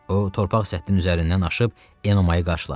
O torpaq səttinin üzərindən aşıb Enomayı qarşıladı.